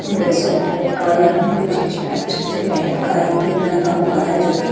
ये sofa type का या मतलब इस्टैबलिश्ड जगह टाइप का एक लगा हुआ है जबकि--